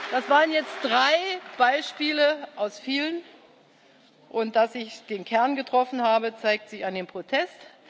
Das waren jetzt drei Beispiele aus vielen, und dass ich den Kern getroffen habe, zeigt sich an dem Protest.